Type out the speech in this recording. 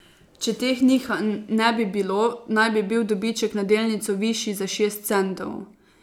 Če teh nihanj ne bi bilo, naj bi bil dobiček na delnico višji za šest centov.